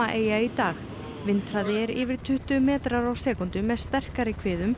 eyja í dag vindhraði er yfir tuttugu metrar á sekúndu með sterkari